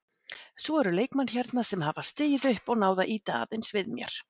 Svo eru leikmenn hérna sem hafa stigið upp og náð að ýta aðeins við mér.